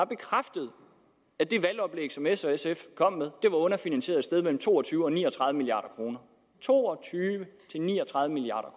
bekræftet at det valgoplæg som s og sf kom med var underfinansieret sted mellem to og tyve og ni og tredive milliard kroner to og tyve til ni og tredive milliard